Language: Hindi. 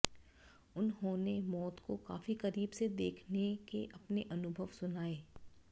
उन्होंने मौत को काफी करीब से देखने के अपने अनुभव सुनाए